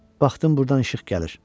Baxdım burdan işıq gəlir.